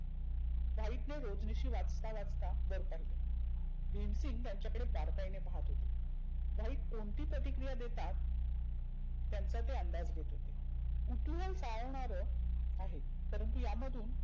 व्हाईटनं रोजनिशी वाचता वाचता वर पाहीले भिमसिंग त्यांच्याकडे बारकाईने पहात होते. व्हाईट कोणती प्रतिक्रीया देतात त्यांचा ते अंदाज घेत होते. कुतुहल साळवनार आहे. परंतु यामधुन